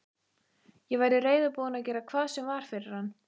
Ég væri reiðubúin að gera hvað sem var fyrir hann.